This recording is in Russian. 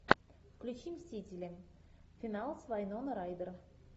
включи мстители финал с вайноной райдер